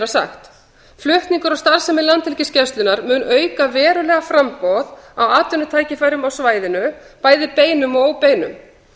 sagt flutningur á starfsemi landhelgisgæslunnar mun auka verulega framboð á atvinnutækifærum á svæðinu bæði beinum og óbeinum